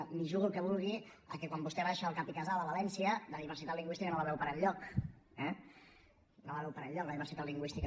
m’hi jugo el que vulgui que quan vostè baixa al cap i casal a valència la diversitat lingüística no la veu per enlloc eh no la veu per enlloc la diversitat lingüística